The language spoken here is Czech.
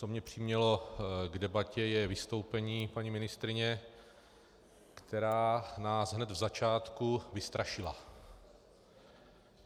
Co mě přimělo k debatě, je vystoupení paní ministryně, která nás hned v začátku vystrašila.